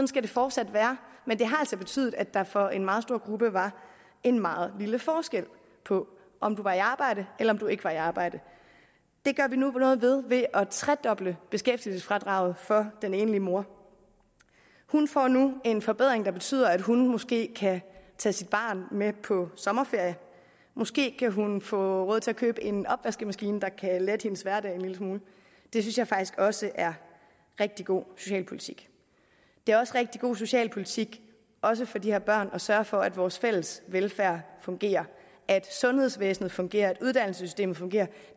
skal det fortsat være men det har altså betydet at der for en meget stor gruppe var en meget lille forskel på om du var i arbejde eller om du ikke var i arbejde det gør vi nu noget ved ved at tredoble beskæftigelsesfradraget for den enlige mor hun får nu en forbedring der betyder at hun måske kan tage sit barn med på sommerferie måske kan hun få råd til at købe en opvaskemaskine der kan lette hendes hverdag en lille smule det synes jeg faktisk også er rigtig god socialpolitik det er også rigtig god socialpolitik også for de her børn at sørge for at vores fælles velfærd fungerer at sundhedsvæsenet fungerer og at uddannelsessystemet fungerer